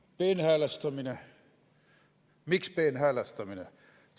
Mis on peenhäälestamine?